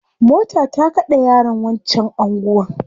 Mota ta kade yaron wancan anguwan